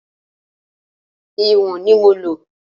Ìwọ̀n ni mo lò.